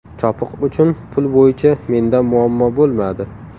Chopiq uchun pul bo‘yicha menda muammo bo‘lmadi.